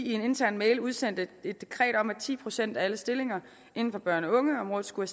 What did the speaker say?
i en intern mail udsendte et dekret om at ti procent af alle stillinger inden for børne og ungeområdet skulle